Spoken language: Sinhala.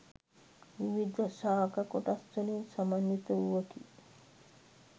විවිධ ශාක කොටස් වලින් සමන්විත වූවකි.